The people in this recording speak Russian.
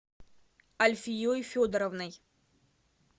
альфией федоровной